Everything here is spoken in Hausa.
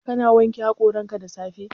Ka na wanke haƙoranka da safe?